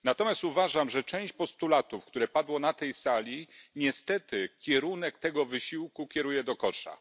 Natomiast uważam, że część postulatów, które padły na tej sali, niestety kieruje ten wysiłek do kosza.